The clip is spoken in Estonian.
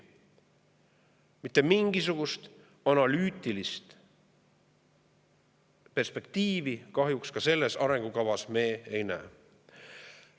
Mitte mingisugust analüütilist perspektiivi me ka selles arengukavas kahjuks ei näe.